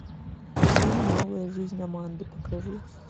фильм новая жизнь аманды покажи